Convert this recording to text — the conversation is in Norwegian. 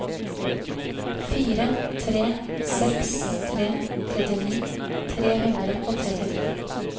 fire tre seks tre trettini tre hundre og trettitre